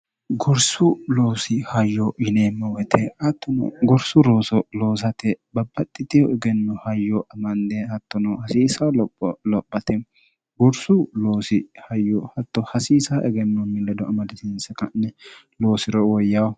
gorsu loosi hayyo yineemmo woyite attono gorsu rooso loosate babbaxxitiyu egenno hayyo amanne hattono hasiisa lopho lophate gorsu loosi hayyo hatto hasiisa egennonni ledo amadatiinse ka'ne loosiro woyyaho